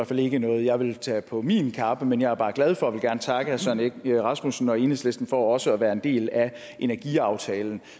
fald ikke er noget jeg vil tage på min kappe men jeg er bare glad for og vil gerne takke herre søren egge rasmussen og enhedslisten for også at være en del af energiaftalen